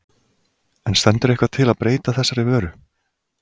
En stendur eitthvað til að breyta þessari vöru?